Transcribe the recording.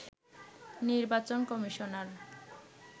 নির্বাচন কমিশনার